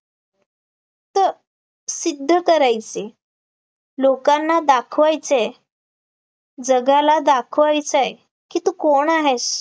त सिद्ध करायचे लोकांना दाखवायचे जगाला दाखवायचय, कि तू कोण आहेस